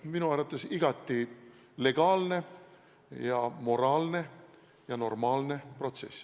Minu arvates igati legaalne ja moraalne ja normaalne protsess.